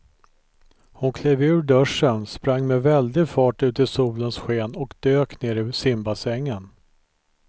Hon klev ur duschen, sprang med väldig fart ut i solens sken och dök ner i simbassängen.